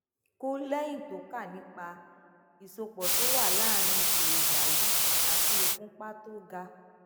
kù léyìn tó kà nípa ìsopò tó wà láàárín èròjà yìí àti ìfúnpá tó ga